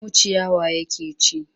Zomo ciyawa yake ci.